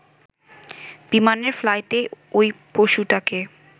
বিমানের ফ্লাইটে ওই পশুটাকে